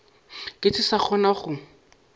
ke se sa kgona go